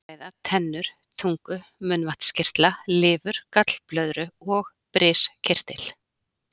Hér er um að ræða tennur, tungu, munnvatnskirtla, lifur, gallblöðru og briskirtil.